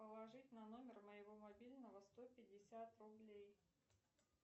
положить на номер моего мобильного сто пятьдесят рублей